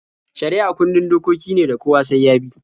Shari'a kundin dokoki ne da kowa sai ya bi.